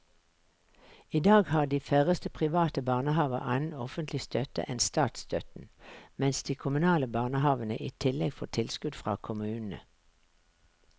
I dag har de færreste private barnehaver annen offentlig støtte enn statsstøtten, mens de kommunale barnehavene i tillegg får tilskudd fra kommunene.